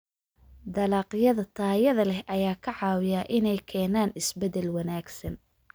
Dalagyada tayada leh ayaa ka caawiya inay keenaan isbeddel wanaagsan.